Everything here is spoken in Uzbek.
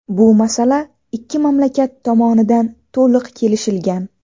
Bu masala ikki mamlakat tomonidan to‘liq kelishilgan.